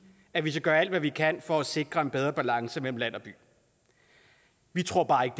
at vi skal gøre alt hvad vi kan for at sikre en bedre balance mellem land og by vi tror bare ikke